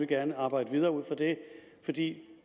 gerne arbejde videre ud fra det for det